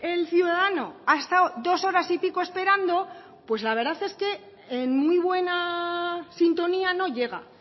el ciudadano ha estado dos horas y pico esperando pues la verdad es que en muy buena sintonía no llega